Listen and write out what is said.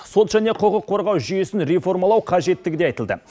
сот және құқық қорғау жүйесін реформалау қажеттігі де айтылды